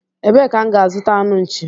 Ebee ka m ga azuta anụ nchi?